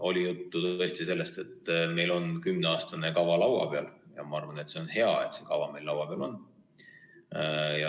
Oli juttu tõesti sellest, et meil on kümneaastane kava laua peal, ja ma arvan, et see on hea, et see kava meil laua peal on.